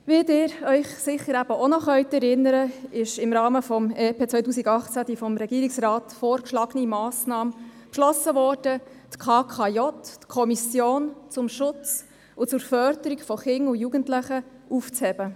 Wie Sie sich sicher noch erinnern können, ist im Rahmen des EP 2018 die vom Regierungsrat vorgeschlagene Massnahme beschlossen worden, die Kommission zum Schutz und zur Förderung von Kindern und Jugendlichen (KKJ) aufzuheben.